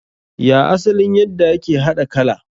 Ya asalin yadda ake haɗa kala?